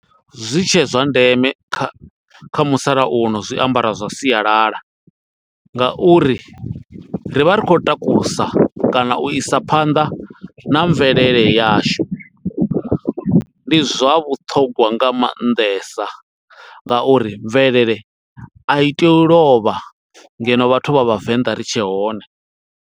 Zwi tshe zwa ndeme kha musalauno zwiambaro zwa sialala, nga uri ri vha ri khou takusa kana u isa phanḓa na mvelele yashu. Ndi zwa vhuṱhongwa nga maanḓesa, nga uri mvelele a i tei u lovha, ngeno vhathu vha Vhavenḓa ri tshe hone.